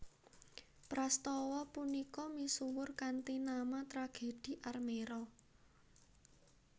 Prastawa punika misuwur kanthi nama Tragedhi Armero